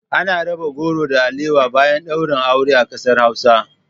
Ana raba goro da alawa bayan ɗaurin aure a kasar Hausa